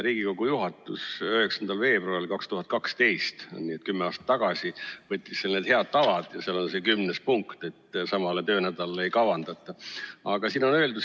Riigikogu juhatus võttis 9. veebruaril 2012, kümme aastat tagasi, need head tavad ja seal on 10. punkt, et samale töönädalale ei kavandata.